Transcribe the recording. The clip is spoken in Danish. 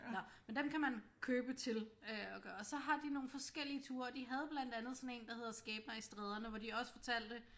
Nåh men dem kan man købe til øh og så har de nogle forskellige ture og de havde blandt andet sådan en der hedder skæbner i stræderne hvor de også fortalte